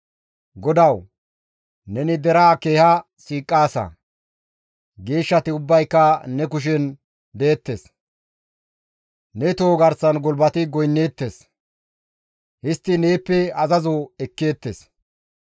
GODAWU! Neni deraa keeha siiqaasa; geeshshati ubbayka ne kushen deettes; ne toho garsan gulbati goynneettes; histtidi neeppe azazo ekkeettes.